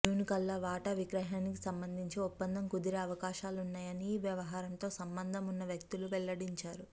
June కల్లా వాటా విక్రయానికి సంబంధించి ఒప్పందం కుదిరే అవకాశాలున్నాయని ఈ వ్యవహారంతో సంబంధం ఉన్న వ్యక్తులు వెల్లడించారు